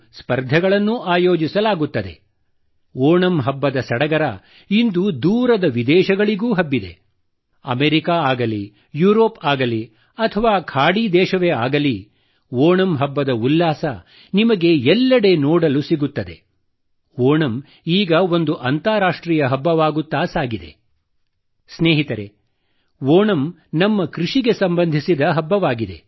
ಸ್ನೇಹಿತರೆ ಓಣಂ ನಮ್ಮ ಕೃಷಿಗೆ ಸಂಬಂಧಸಿದ ಹಬ್ಬವಾಗಿದೆ